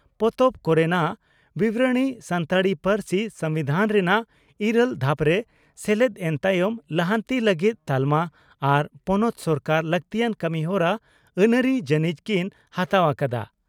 ᱯᱚᱛᱚᱵ ᱠᱚᱨᱮᱱᱟᱜ ᱵᱤᱵᱚᱨᱚᱬᱤ ᱥᱟᱱᱛᱟᱲᱤ ᱯᱟᱹᱨᱥᱤ ᱥᱚᱢᱵᱤᱫᱷᱟᱱ ᱨᱮᱱᱟᱜ ᱤᱨᱟᱹᱞ ᱫᱷᱟᱯᱨᱮ ᱥᱮᱞᱮᱫ ᱮᱱ ᱛᱟᱭᱚᱢ ᱞᱟᱦᱟᱱᱛᱤ ᱞᱟᱹᱜᱤᱫ ᱛᱟᱞᱢᱟ ᱟᱨ ᱯᱚᱱᱚᱛ ᱥᱚᱨᱠᱟᱨ ᱞᱟᱹᱠᱛᱤᱭᱟᱱ ᱠᱟᱹᱢᱤᱦᱚᱨᱟ ᱟᱹᱱᱟᱹᱨᱤ ᱡᱟᱹᱱᱤᱡ ᱠᱤᱱ ᱦᱟᱛᱟᱣ ᱟᱠᱟᱫᱼᱟ ᱾